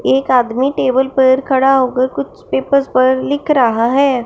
एक आदमी टेबल पर खड़ा होकर कुछ पेपर्स पर लिख रहा है।